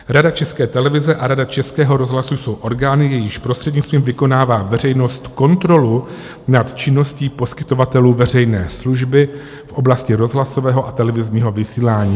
Rada České televize a Rada Českého rozhlasu jsou orgány, jejichž prostřednictvím vykonává veřejnost kontrolu nad činností poskytovatelů veřejné služby v oblasti rozhlasového a televizního vysílání.